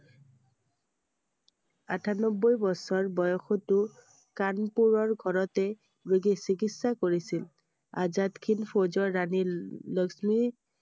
আঠানব্বৈ বছৰ বয়সটো কানপুৰৰ ঘৰতে নিজে চিকিৎসা কৰিছিল I আজাদ হিন্দ ফৌজৰ ৰাণী লক্ষ্মী